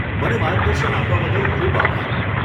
મને માર્ગદર્શન આપવા બદલ ખૂબ આભાર.